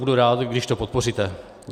Budu rád, když to podpoříte.